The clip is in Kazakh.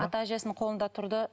ата әжесінің қолында тұрды